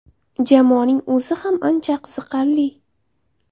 Jamoaning o‘zi ham ancha qiziqarli.